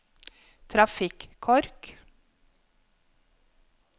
trafikkork